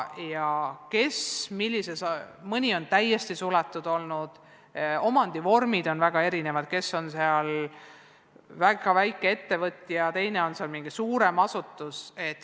Mõni huvikool on olnud täiesti suletud, omandivormid on väga erinevad, mõni on väga väike ettevõtja ja teine on suurem asutus.